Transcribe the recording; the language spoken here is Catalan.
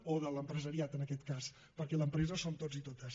o de l’empresariat en aquest cas perquè l’empresa som tots i totes